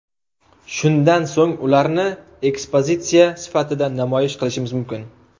Shundan so‘ng ularni ekspozitsiya sifatida namoyish qilishimiz mumkin.